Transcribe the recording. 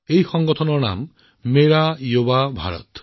এই সংগঠনৰ নাম মাই য়ৌং ইণ্ডিয়া অৰ্থাৎ মাইভাৰাত